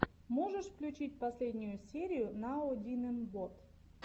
можешь включить последнюю серию ноаодинэмбот